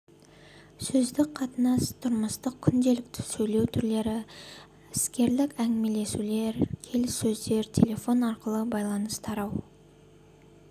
сөздік қатынас тұрмыстық күнделікті сөйлеу түрлері іскерлік әңгімелесулер келіссөздер телефон арқылы байланыс тарау